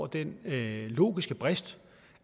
den logiske brist